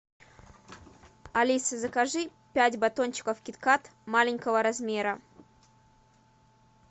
алиса закажи пять батончиков кит кат маленького размера